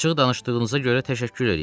Açıq danışdığınıza görə təşəkkür eləyirəm.